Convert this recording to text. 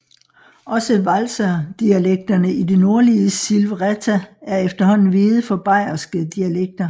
Også walserdialekterne i det nordlige Silvretta er efterhånden veget for bayerske dialekter